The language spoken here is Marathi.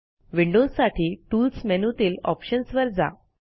विंडोजसाठी टूल्स मेनूतील ऑप्शन्स वर जा